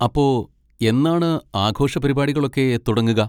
അപ്പൊ, എന്നാണ് ആഘോഷപരിപാടികളൊക്കെ തുടങ്ങുക?